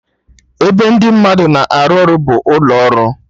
Ebe ndị mmadụ na-arụ ọrụ bụ ụlọ ọrụ